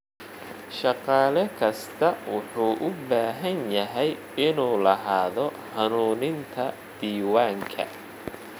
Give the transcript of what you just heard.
Shaqaale kasta wuxuu u baahan yahay inuu lahaado hanuuninta diiwaanka.